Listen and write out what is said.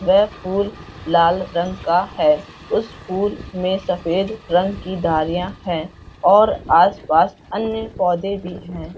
ये फूल लाल रंग का है। उस फूल में सफेद रंग की धारियां हैं और आस-पास अन्य पौधे भी हैं।